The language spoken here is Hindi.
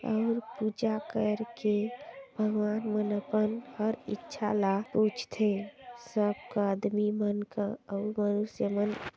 ऑउर पूजा कर के भगवान मनोकन हर इच्छा ला पूज थे सबका आदमी मन का अउ मनुष्या मन --